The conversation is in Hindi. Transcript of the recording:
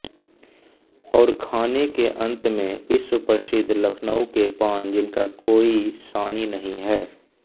और खाने के अंत में विश्वप्रसिद्ध लखनऊ के पान जिनका कोई सानी नहीं है